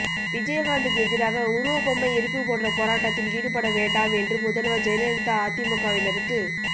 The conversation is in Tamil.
விஜயகாந்த்துக்கு எதிராக உருவபொம்மை எரிப்பு போன்ற போராட்டத்தில் ஈடுபட வேண்டாம் என்று முதல்வர் ஜெயலலிதா அதிமுகவினருக்கு